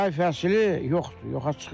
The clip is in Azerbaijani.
Yay fəsli yoxdur, yoxa çıxıb.